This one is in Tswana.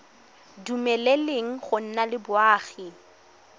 dumeleleng go nna le boagi